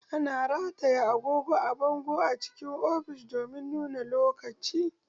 Ana rataya agogo a bango cikin ofishi domin nuna lokaci